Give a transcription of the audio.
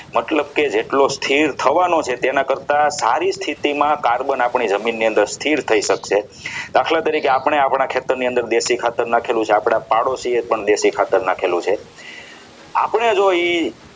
મતલબ કે જેટલું સ્થિર થવાનો છે તેના કરતાં સારી સ્થિતિમાં carbon આપણી જમીનની અંદર સ્થિર થઈ શકશે દાખલા તરીકે આપણે આપણા ખેતરની અંદર દેશી ખાતર નાખેલું છે આપણા પાડોશી એ પણ દેશી ખાતર નાખેલું છે આપણે જો એ